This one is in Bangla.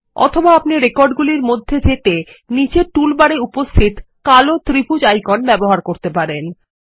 অথবা আপনি রেকর্ডগুলির মধ্যেযেতে নীচের টুলবার এ উপস্থিতকালো ত্রিভুজ আইকন ব্যবহার করতে পারেন